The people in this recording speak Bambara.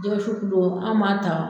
Jɛgɛwusu kilo an b'a ta